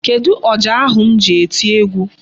Kedụ ọjà ahu m ji eti egwu?